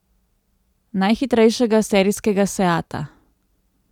Najhitrejšega serijskega seata.